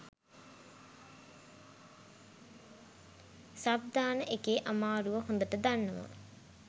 sub දාන එකේ අමාරුව හොදට දන්නවා